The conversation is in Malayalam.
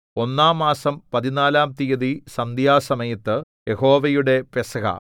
ഒന്നാം മാസം പതിനാലാം തീയതി സന്ധ്യാസമയത്ത് യഹോവയുടെ പെസഹ